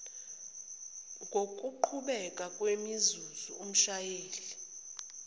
ngokuqhubeka kwemizuzu umshayeli